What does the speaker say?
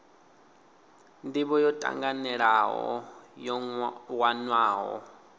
ndivho yo tanganelaho yo wanwaho